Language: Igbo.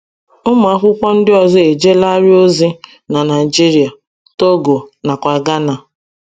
Ụmụ akwụkwọ ndị ọzọ ejeelarị ozi na Naịjirịa ,Togo, na kwa Ghana.